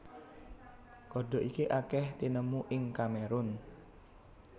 Kodhok iki akèh tinemu ing Kamerun